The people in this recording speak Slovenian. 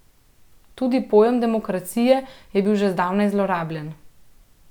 Tudi pojem demokracije je bil že zdavnaj zlorabljen.